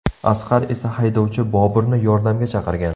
Asqar esa haydovchi Boburni yordamga chaqirgan.